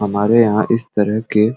हमारे यहाँ इस तरह के --